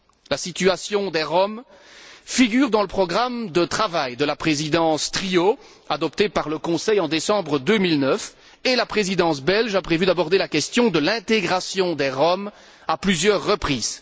La situation des Roms figure dans le programme de travail de la Présidence trio adopté par le Conseil en décembre 2009 et la Présidence belge a prévu d'aborder la question de l'intégration des Roms à plusieurs reprises.